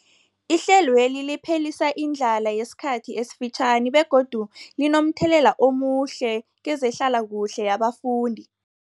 Ihlelweli liphelisa indlala yesikhathi esifitjhani begodu linomthelela omuhle kezehlalakuhle yabafundi.